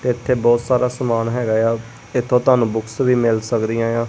ਇੱਥੇ ਬਹੁਤ ਸਾਰਾ ਸਮਾਨ ਹੈਗਾ ਏ ਆ ਇੱਥੋਂ ਤੁਹਾਨੂੰ ਬੁੱਕਸ ਵੀ ਮਿਲ ਸਕਦੀਆਂ ਆ।